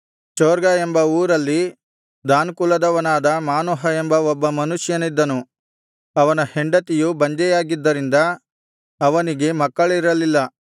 ಚೊರ್ಗಾ ಎಂಬ ಊರಲ್ಲಿ ದಾನ್ ಕುಲದವನಾದ ಮಾನೋಹ ಎಂಬ ಒಬ್ಬ ಮನುಷ್ಯನಿದ್ದನು ಅವನ ಹೆಂಡತಿಯು ಬಂಜೆಯಾಗಿದ್ದರಿಂದ ಅವನಿಗೆ ಮಕ್ಕಳಿರಲಿಲ್ಲ